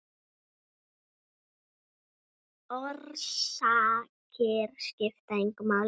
Orsakir skipta engu máli.